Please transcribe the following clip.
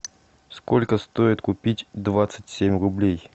сколько стоит купить двадцать семь рублей